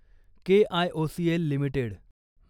KIOCL limited